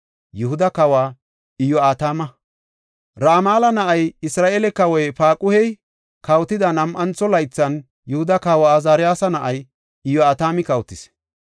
Ramala na7ay, Isra7eele kawoy Paaquhey kawotida nam7antho laythan, Yihuda kawa Azaariyasi na7ay Iyo7atami kawotis.